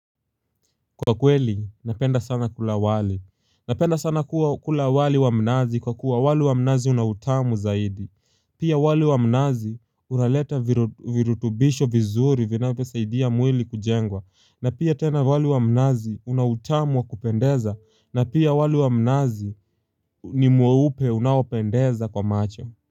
Kwa kweli, napenda sana kula wali. Napenda sana kula wali wa mnazi kwa kuwa wali wa mnazi unautamu zaidi. Pia wali wa mnazi unaleta virutubisho vizuri vinavyosaidia mwili kujengwa. Na pia tena wali wa mnazi unautamu wakupendeza. Na pia wali wa mnazi ni mweupe unaopendeza kwa macho.